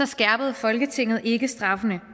skærpede folketinget ikke straffene